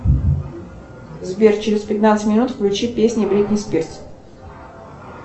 сбер через пятнадцать минут включи песни бритни спирс